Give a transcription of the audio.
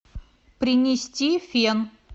принести фен